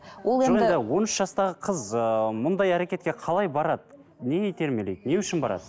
он үш жастағы қыз ыыы мұндай әрекетке қалай барады не итермелейді не үшін барады